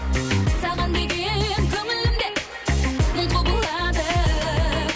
саған деген көңілім дем мың құбылады